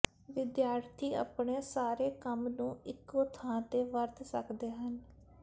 ਵਿਦਿਆਰਥੀ ਆਪਣੇ ਸਾਰੇ ਕੰਮ ਨੂੰ ਇੱਕੋ ਥਾਂ ਤੇ ਵਰਤ ਸਕਦੇ ਹਨ